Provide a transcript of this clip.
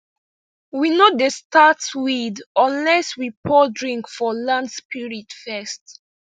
we no dey start weed unless we pour drink for land spirit first